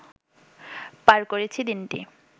পার করেছি দিনটি